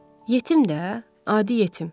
Yetim də, adi yetim.